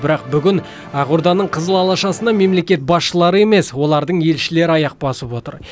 бірақ бүгін ақорданың қызыл алашасына мемлекет басшылары емес олардың елшілері аяқ басып отыр